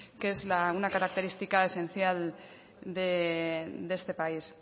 que es una característica esencial de este país